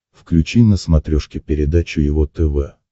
включи на смотрешке передачу его тв